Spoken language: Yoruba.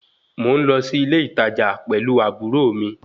Mò ń lọ sí ilé ìtajà pẹ̀lú àbúrò mi